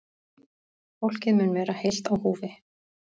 Fólkið mun vera heilt á húfi